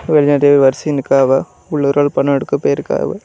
வெளியாடெ வரிசையா நிக்கிறாவெ உள்ளார ஒரு ஆள் பணம் எடுக்க போயிருக்காவெ.